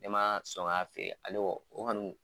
Ne ma son k'a ale